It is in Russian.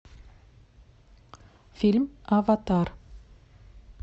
фильм аватар